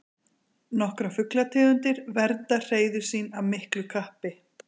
Nokkrar fuglategundir vernda hreiður sín af miklu kappi.